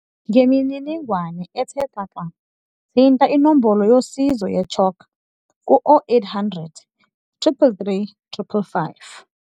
Ngemininingwane ethe xaxa, thinta inombolo yosizo ye-CHOC ku-0800 333 555.